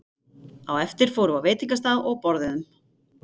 Á eftir fórum við á veitingastað og borðuðum.